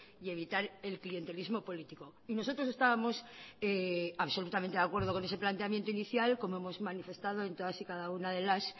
y evitar el clientelismo político y nosotros estábamos absolutamente de acuerdo con ese planteamiento inicial como hemos manifestado en todas y cada una de las